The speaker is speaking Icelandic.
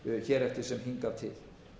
hér eftir sem hingað til